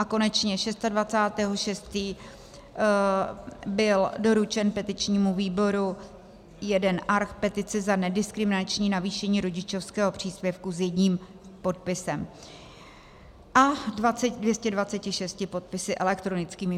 A konečně 26. 6. byl doručen petičnímu výboru jeden arch petice za nediskriminační navýšení rodičovského příspěvku s jedním podpisem a 226 podpisy elektronickými.